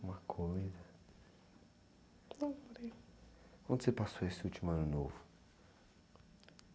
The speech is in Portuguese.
Uma coisa... Onde você passou esse último ano novo?